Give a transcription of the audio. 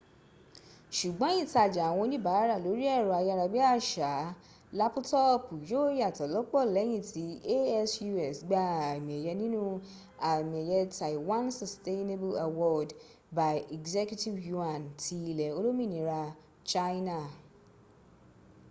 sùgbọ́n ìtajà àwọn oníbàárà lórí ẹ̀rọ ayára bí àṣá lápútọọ̀pù yóó yàtọ̀ lọ́pọ̀ lẹ́yìn tí asus gba àmì ẹ̀yẹ nínú àmì ẹ̀yẹ taiwan sustainable award by executive yuan ti ilẹ̀ olómìnira china